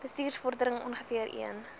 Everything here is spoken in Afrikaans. bestuursvorderings ongeveer een